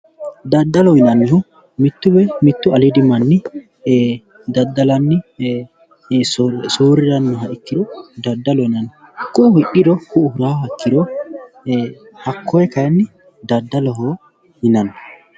daddalo yinannihu mittu woyi mittu aliidi manni daddalanni soorrirannoha ikkiro daddaloho yinanni ku'u hidhiro ku'u hiraaha ikkiro hakkoye kayiinni daddaloho yinanni.